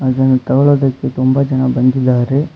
ಅದನ್ನು ತೊಗೊಳೋದಿಕ್ಕೆ ತುಂಬಾ ಜನ ಬಂದಿದ್ದಾರೆ.